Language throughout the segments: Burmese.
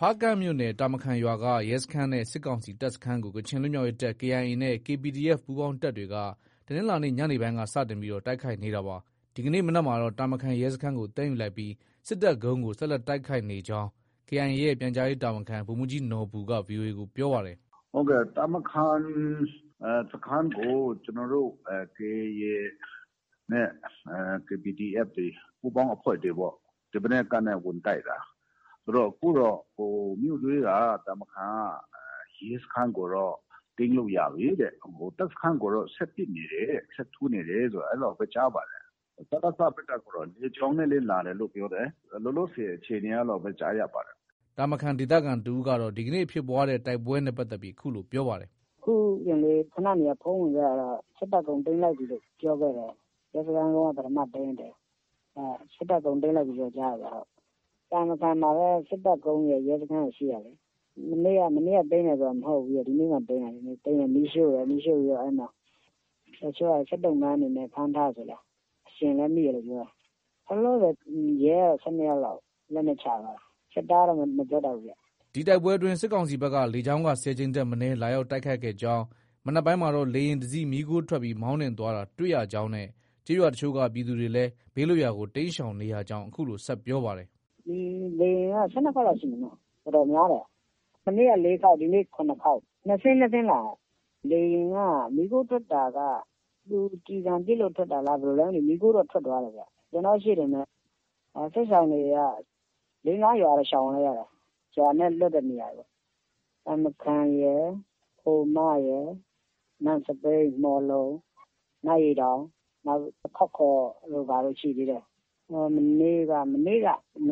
ဖားကန့်မြို့နယ် တာမခန်ရွာက ရဲစခန်းနဲ့ စစ်ကောင်စီတပ်စခန်းကို ကချင်လွတ်မြောက်ရေးတပ် KIA နဲ့ KPDF ပူးပေါင်းတပ်တွေက တနင်္လာနေ့ ညနေပိုင်းက စတင်ပြီး တိုက်ခိုက်နေတာပါ။ ဒီကနေ့မနက်မှာတော့ တာမခန် ရဲစခန်းကို သိမ်းယူလိုက်ပြီး စစ်တပ်ကုန်းကို ဆက်လက်တိုက်ခိုက်နေကြောင်း KIA ရဲ့ ပြန်ကြားရေးတာဝန်ခံ ဗိုလ်မှုးကြီးနော်ဘူက VOA ကို ပြောပါတယ်။ “ တာမခန် စခန်းကို ကျနော်တို့ KIA နဲ့ KPDF ပူးပေါင်းအဖွဲ့တွေပေါ့။ ဒီမနက်ကနေ ဝင်တိုက်တာ။ ဆိုတော့ အခုတော့ မြို့ထဲက တာမခန်က ရဲစခန်းကိုတော့ သိမ်းလို့ ရပြီတဲ့။ တပ်စခန်းကိုတော့ ဆက်ပစ်နေတယ်တဲ့။ ဆက်ထိုးနေတယ် အဲလောက်ပဲ ကြားပါတယ်။ စကစဘက်ကတော့ လေကြောင်းနဲ့လည်း လာတယ်လို့ ပြောတယ်။ လောလောဆည်အခြေအနေ အဲလောက်ပဲ ကြားရပါတယ်။” တာမခန်ဒေသခံတဦးကတော့ ဒီကနေ့ ဖြစ်ပွားတဲ့တိုက်ပွဲနဲ့ပတ်သက်ပြီး အခုလို ပြောပါတယ်။ “ အခုတင်လေး ခုနတင်က ဖုန်းဝင်ခဲ့တာတော့ စစ်တပ်ကုန်း သိမ်းလိုက်ပြီလို့ ပြောခဲ့တယ်။ ရဲစခန်းကုန်းက ပထမသိမ်းလိုက်တယ်။ စစ်တပ်ကုန်း သိမ်းလိုက်ပြီလို့တော့ ကြားတယ်ဗျ။ တာမခန်မှာပဲ စစ်တပ်ကုန်းရယ်၊ ရဲစခန်းရယ်ရှိတာလေ။ မနေ့က သိမ်းတယ်ဆိုတာ မဟုတ်ဘူး။ ဒီနေ့မှ သိမ်းတာ။ သိမ်းတယ် မီးရှို့တယ်။ တချို့က စစ်သုံ့ပန်းအနေနဲ့ ဖမ်းထားတယ်ဆိုလား။ အရှင်လည်း မိတယ်လို့ ပြောတယ်။ လောလောဆည် ရဲကတော့ ၁၂ယောက်လောက် လက်နက်ချသွားတာ။ စစ်သားကတော့ မပြောတတ်ဘူးဗျ။ ” ဒီတိုက်ပွဲအတွင်း စစ်ကောင်စီဘက်က လေကြောင်းက ၁၀ ကြိမ်ထက်မနည်း လာရောက်တိုက်ခိုက်ခဲ့ကြောင်း၊ မနက်ပိုင်းကတော့ လေယာဉ်တစီး မီးခိုးထွက်ပြီး မောင်းနှင်သွားတာ တွေ့ရကြောင်းနဲ့ ကျေးရွာအချို့က ပြည်သူတွေလည်း ဘေးလွတ်ရာကို တိမ်းရှောင်နေရကြောင်း အခုလို ဆက်ပြောပါတယ်။ “လေယာဉ်က ၁၂ခေါက်လောက်ရှိမယ်နော။ တော်တော်များတယ်။ မနေ့က ၄ခေါက်။ ဒီနေ့ ၇ခေါက် ၂စင်း၊ ၂စင်းလာတာ။ လေယာဉ်က မီးခိုးထွက်တာက သူကျည်ဆံထိလို့ ထွက်တာလား ဘယ်လိုလဲတော့ မသိဘူး။ မီးခိုးတော့ ထွက်သွားတယ်။ ကျနော့ ရှေ့တင်ပဲ။ စစ်ရှောင်တွေက ၄- ၅ရွာတော့ ရှောင်လိုက်ရတယ်။ ရွာနဲ့ လွတ်တဲ့နေရာတွေပေါ့။ တာမခန်ရယ်၊ ခိုမရယ်၊ နန့်စဘိန်း၊ မှော်လုံ၊ နတ်ရေတောင်၊ နောက် ခေါက်ခေါ်တို့ ဘာတို့ ရှိသေးတယ်။ မနေ့က မ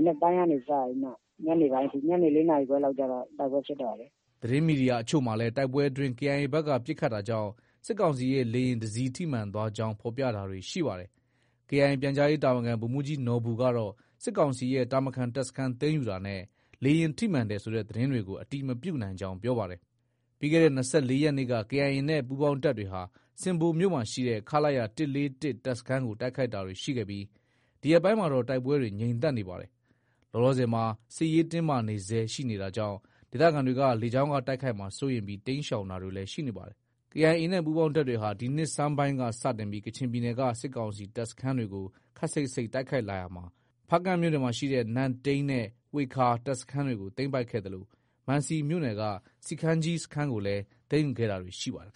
နက်ပိုင်းကနေ စပြီးမှ ညနေပိုင်းအထိ ညနေ ၄နာရီခွဲလောက်ကျတော့ တိုက်ပွဲဖြစ်တော့တာလေ။ ” သတင်းမီဒီယာအချို့မှာလည်း တိုက်ပွဲအတွင်း KIA ဘက်က ပစ်ခတ်တာကြောင့် စစ်ကောင်စီရဲ့ လေယာဉ်တစီး ထိမှန်သွားကြောင်း ဖော်ပြတာတွေရှိပါတယ်။ KIA ပြန်ကြားရေး တာဝန်ခံ ဗိုလ်မှုးကြီးနော်ဘူကတော့ စစ်ကောင်စီရဲ့ တာမခန် တပ်စခန်းသိမ်းယူတာနဲ့ လေယာဉ်ထိမှန်တယ်ဆိုတဲ့သတင်းကို အတည်မပြုနိုင်ကြောင်း ပြောပါတယ်။ ပြီးခဲ့တဲ့ ၂၄ရက်နေ့က KIA နဲ့ ပူးပေါင်းတပ်တွေဟာဆင်ဘိုမြို့ရှိ ခလရ ၁၄၁ တပ်စခန်းကို တိုက်ခိုက်တာတွေ ရှိခဲ့ပြီး ဒီရက်ပိုင်းမှာတော့ တိုက်ပွဲတွေ ငြိမ်သက်နေပါတယ်။ လောလောဆည်မှာ စစ်ရေးတင်းမာနေဆဲရှိနေတာကြောင့် ဒေသခံတွေက လေကြောင်းက တိုက်ခိုက်မှာစိုးရိမ်ပြီး တိမ်းရှောင်တာတွေလည်း ရှိနေပါတယ်။ KIA နဲ့ ပူးပေါင်းတပ်တွေဟာ ဒီနှစ်ဆန်းပိုင်းက စတင်ပြီး ကချင်ပြည်နယ်က စစ်ကောင်စီတပ်စခန်းတွေကို ခပ်စိပ်စိပ် တိုက်ခိုက်လာရာမှာ ဖားကန့်မြို့နယ်ရှိ နန့်တိန်းနဲ့ ဝှေခါ တပ်စခန်းတွေကို သိမ်းပိုက်ခဲ့သလို မံစီမြို့နယ်က စီခမ်းကြီး စခန်းကိုလည်း သိမ်းယူတာတွေ ရှိခဲ့ပါတယ်